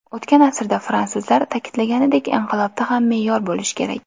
O‘tgan asrda fransuzlar ta’kidlaganidek, inqilobda ham me’yor bo‘lishi kerak.